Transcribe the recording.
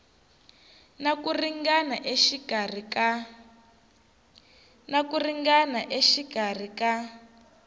na ku ringana exikarhi ka